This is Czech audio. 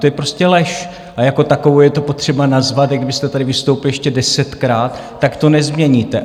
To je prostě lež a jako takovou je to potřeba nazvat, s kdybyste tady vystoupil ještě desetkrát, tak to nezměníte.